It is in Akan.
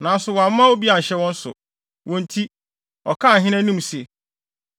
Nanso wamma obi anhyɛ wɔn so; wɔn nti, ɔkaa ahene anim se;